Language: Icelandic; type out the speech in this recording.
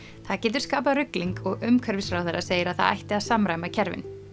það getur skapað rugling og umhverfisráðherra segir að það ætti að samræma kerfin